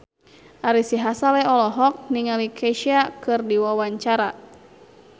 Ari Sihasale olohok ningali Kesha keur diwawancara